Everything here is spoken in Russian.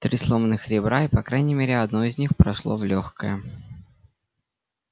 три сломанных ребра и по крайней мере одно из них прошло в лёгкое